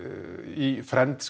í